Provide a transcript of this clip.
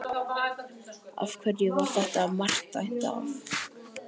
Af hverju var þetta mark dæmt af?